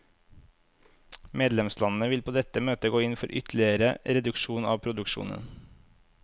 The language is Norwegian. Medlemslandene vil på dette møtet gå inn for ytterligere reduksjon av produksjonen.